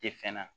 Tɛ fɛn na